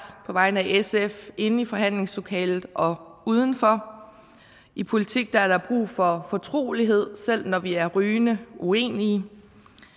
på vegne af sf inde i forhandlingslokalet og uden for i politik er der brug for fortrolighed selv når vi er rygende uenige